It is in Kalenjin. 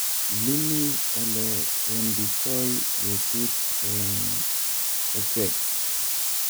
Iimii ole wenditoi betut eng eechek